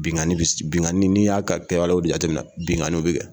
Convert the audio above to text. Binkanni bi , binkanni n'i y'a wala jateminɛ binkanni bi kɛ